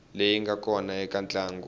leyi nga kona eka ntlangu